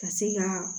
Ka se ka